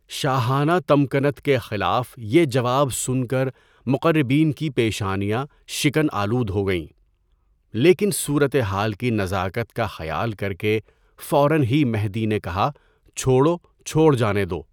شاہانہ تمکنت کے خلاف یہ جواب سُن کر مقربین کی پیشانیاں شکن آلود ہوگئیں، لیکن صورتِ حال کی نزاکت کا خیال کر کے فوراً ہی مہدی نے کہا چھوڑو چھوڑ جانے دو.